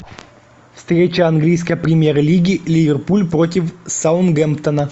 встреча английской премьер лиги ливерпуль против саутгемптона